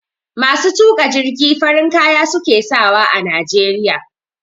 Masu tuƙa jirgi farin kaya suke sawa a najeriya